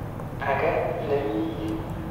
Ake ne mi yun.